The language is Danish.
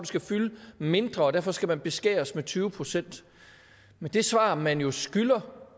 skal fylde mindre og derfor skal den beskæres med tyve procent men det svar man jo skylder